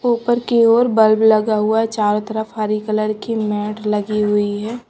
ऊपर की ओर बल्ब लगा हुआ चारों तरफ हरी कलर की मैट लगी हुई है।